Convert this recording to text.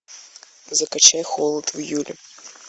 закачай холод в июле